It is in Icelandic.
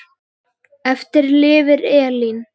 Eftir lifir Elín.